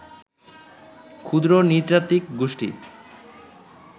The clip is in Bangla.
ক্ষুদ্র নৃতাত্ত্বিক গোষ্ঠী